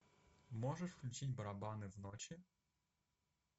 можешь включить барабаны в ночи